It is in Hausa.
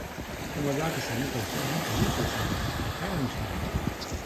Kuma za ka samu kwanciyar hankali sosai da kyawun tunani.